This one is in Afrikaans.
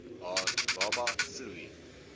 haar baba vloei